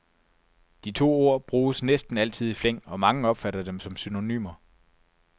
De to ord bruges næsten altid i flæng, og mange opfatter dem som synonymer.